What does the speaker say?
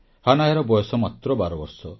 ହାନାୟାର ବୟସ ମାତ୍ର 12 ବର୍ଷ